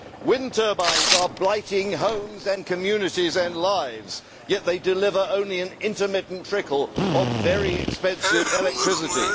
Wind turbines are blighting homes, communities and lives yet they deliver only an intermittent trickle of very expensive electricity.